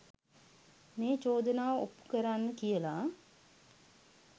මේ චෝදනාව ඔප්පු කරන්න කියලා